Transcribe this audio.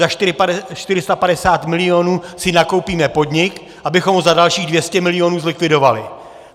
za 450 milionů si nakoupíme podnik, abychom ho za dalších 200 milionů zlikvidovali.